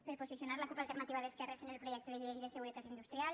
per posicionar la cup alternativa d’esquerres en el projecte de llei de seguretat industrial